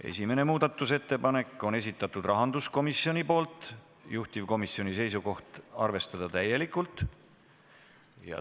Esimese muudatusettepaneku on esitanud rahanduskomisjon, juhtivkomisjoni seisukoht on arvestada täielikult.